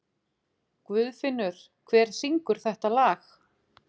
Guðfinnur, hver syngur þetta lag?